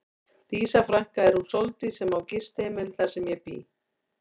Dísa frænka er hún Sóldís sem á gistiheimilið þar sem ég bý.